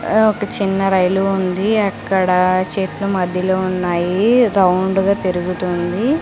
ఆ ఒక చిన్న రైలు ఉంది అక్కడ చెట్లు మధ్యలో ఉన్నాయి రౌండుగా తిరుగుతుంది.